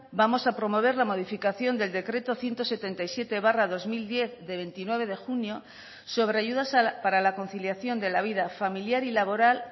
vamos a promover la modificación del decreto ciento setenta y siete barra dos mil diez de veintinueve de junio sobre ayudas para la conciliación de la vida familiar y laboral